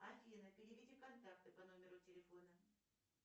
афина переведи контакты по номеру телефона